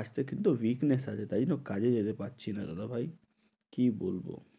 আজকে কিন্তু weakness আছে, তাই তো কাজে যেতে পারছি না দাদা ভাই, কি বলবো।